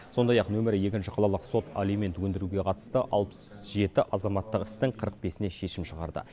сондай ақ нөмірі екінші қалалық сот алимент өндіруге қатысты алпыс жеті азаматтық істің қырық бесіне шешім шығарды